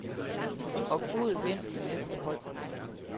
Og god vind til næste hold. punktum